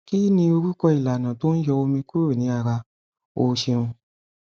kih ni orúkọ ìlànà tó n yọ omi kúrò ní ara o ṣeun